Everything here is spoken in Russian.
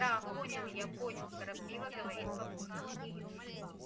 да понял я понял торопливо говорит папулька